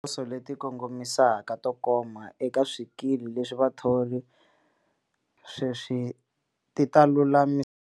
Tikhoso leti kongomisaka to koma eka swikili leswi vathori sweswi ti ta lulamisiwa.